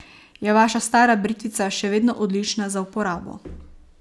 Je vaša stara britvica še vedno odlična za uporabo?